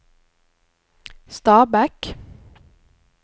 Stabekk